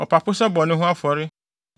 ɔpapo sɛ bɔne ho afɔre;